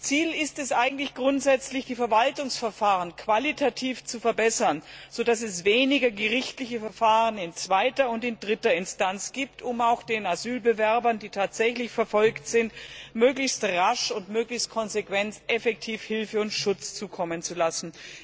Ziel ist es, grundsätzlich die Verwaltungsverfahren qualitativ zu verbessern, sodass es weniger gerichtliche Verfahren in zweiter und in dritter Instanz gibt, um den Asylbewerbern, die tatsächlich verfolgt sind, möglichst rasch und möglichst konsequent effektiv Hilfe und Schutz zukommen zu lassen.